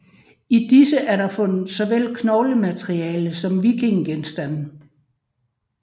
I disse er der fundet såvel knoglemateriale som vikingegenstande